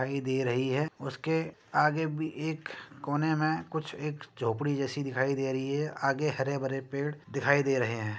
दिखाई दे रही है। उसके आगे बी एक कोने में कुछ एक झोपड़ी जैसी दिखाई दे रही है। आगे हरे भरे पेड़ दिखाई दे रहे हैं।